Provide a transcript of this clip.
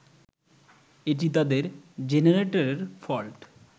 এটি তাদের জেনারেটরের ফল্ট।